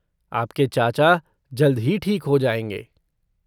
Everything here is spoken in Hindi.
आपके चाचा जल्द ही ठीक हो जाएंगे।